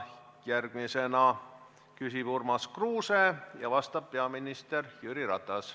Järgmisena küsib Urmas Kruuse ja vastab peaminister Jüri Ratas.